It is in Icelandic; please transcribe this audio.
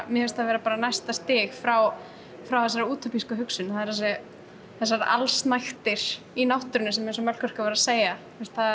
mér finnst það vera bara næsta stig frá frá þessari hugsun það eru þessar allsnægtir í náttúrunni sem er eins og Melkorka var að segja